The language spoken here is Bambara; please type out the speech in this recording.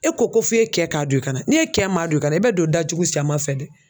E ko ko f'e kɛ k'a don i kana. N'e kɛ m'a don i ka i bɛ don datugu cɛman fɛ dɛ.